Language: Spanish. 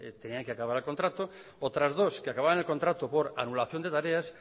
tenía que acabar el contrato otras dos acababan el contrato por anulación de tareas